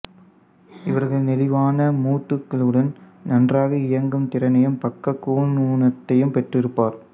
இவர்கள் நெளிவானமூட்டுகளுடன் நன்றாக இயங்கும் திறனையும் பக்கக் கூன் ஊனத்தையும் பெற்றிருப்பார்